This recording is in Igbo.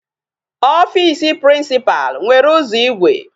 Office principal nwere ụzọ igwe.